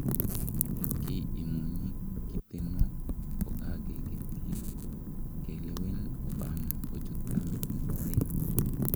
ki imuny kiteno kogage ketyii ke lewen Obama kochut tamit nepo aeng